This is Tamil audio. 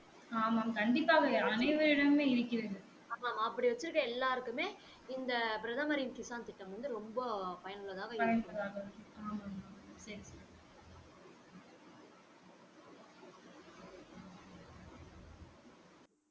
ஆமாம் அப்படி வச்சி இருக்க எல்லாருக்குமே இந்த பிரதமரின் கிஷான் திட்டம் வந்து ரொம்ப பயன் உள்ளதாக இருக்கிறது